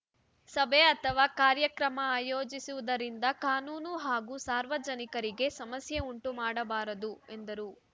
ಸಭೆ ಅಥವಾ ಕಾರ್ಯಕ್ರಮ ಆಯೋಜಿಸುವುದರಿಂದ ಕಾನೂನು ಹಾಗೂ ಸಾರ್ವಜನಿಕರಿಗೆ ಸಮಸ್ಯೆ ಉಂಟು ಮಾಡಬಾರದು ಎಂದರು